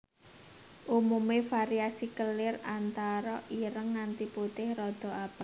Umume variasi kelir antara ireng nganti putih rada abang